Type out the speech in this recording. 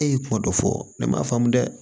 E ye kuma dɔ fɔ ne ma dɛ